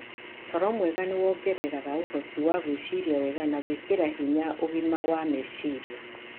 Toro mwega nĩ wongereraga ũhoti wa gwĩciria wega na gwĩkĩra hinya ũgima wa meciria.